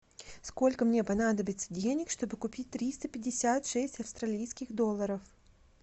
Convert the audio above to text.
сколько мне понадобится денег чтобы купить триста пятьдесят шесть австралийских долларов